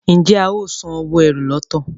Njé ào sàn owo ẹ́rù lọto?